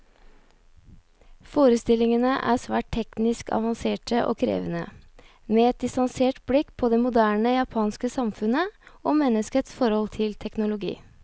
Forestillingene er svært teknisk avanserte og krevende, med et distansert blikk på det moderne japanske samfunnet, og menneskets forhold til teknologi.